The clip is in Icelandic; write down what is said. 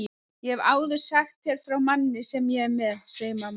Ég hef áður sagt þér frá manni sem ég er með, segir mamma.